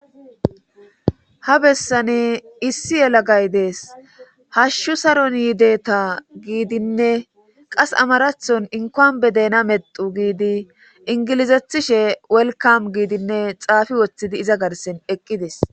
ha bessane issi yela gay dees hashshu saron yideeta giidinne qas amarathon inkoan be dena medu giidi ingilizethishe welkam giidinne xaafi woththidi iza garsen eqqides